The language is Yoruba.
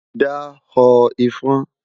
da họ ifọ̀n